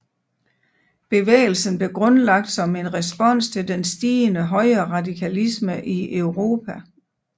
Bevægelsen blev grundlagt som en respons til den stigende højreradikalisme i Europa